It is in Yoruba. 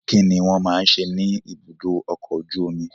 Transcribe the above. Kí ni wọ́n máa ń ṣe ní ibùdó ọkọ̀ ojú omi?